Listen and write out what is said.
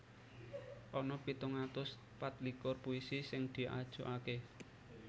Ana pitung atus patlikur puisi sing diajokaké